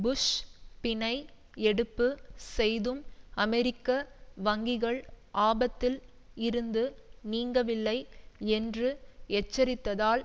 push பிணை எடுப்பு செய்தும் அமெரிக்க வங்கிகள் ஆபத்தில் இருந்து நீங்கவில்லை என்று எச்சரித்ததால்